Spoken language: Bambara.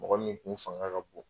Mɔgɔ min kun fanga ka bɔn